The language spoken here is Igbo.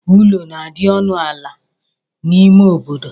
Ụlọ na-adi ọnụ ala n'ime obodo.